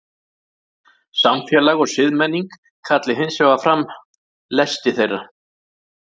samfélag og siðmenning kalli hins vegar fram lesti þeirra